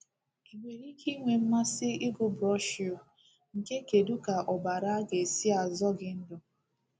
I nwere ike inwe mmasị ịgụ broshu nke Kedu ka Ọbara ga-esi azọ gị Ndụ?